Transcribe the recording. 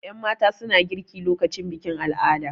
Yanmata suna girki lokacin bikin al'ada